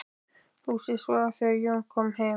Húsið svaf þegar Jón kom heim.